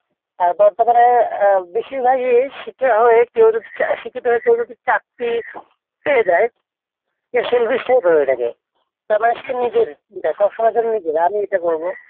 তারপরে বেশিরভাগই শিখে যদি আহ শিক্ষিত হয়ে কেউ যদি চাকরি পেয়ে যায় self established হয়ে যায় তার মানে সে নিজের সবসময়ের জন্য সে নিজের যে আমি এটা করবো